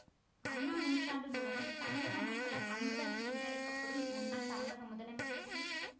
அண்ணா நூற்றாண்டு நூலகம் தமிழக மக்களால் அன்புடன் என்றழைக்க படும் முன்னாள் தமிழக முதலமைச்சர் சி